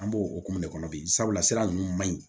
An b'o okumu de kɔnɔ bi sabula sira ninnu man ɲi